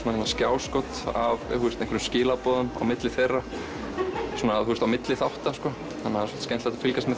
skjáskot af einhverjum skilaboðum á milli þeirra á milli þátta skemmtilegt að fylgjast með